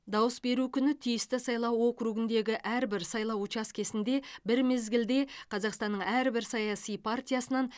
дауыс беру күні тиісті сайлау округіндегі әрбір сайлау учаскесінде бір мезгілде қазақстанның әрбір саяси партиясынан